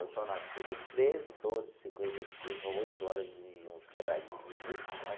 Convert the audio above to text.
Eu sou nascido treze do doze de cinquenta e cinco, a oito horas de uns quebradinhos de minutos né.